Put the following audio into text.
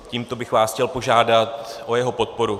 Tímto bych vás chtěl požádat o jeho podporu.